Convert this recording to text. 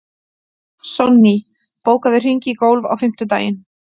Sonný, bókaðu hring í golf á fimmtudaginn.